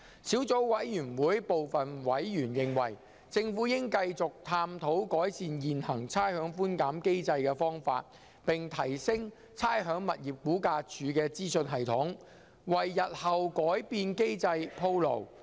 小組委員會部分委員認為，政府應繼續探討改善現行的差餉寬減機制的方法，並提升差餉物業估價署的資訊系統，為日後改變機制鋪路。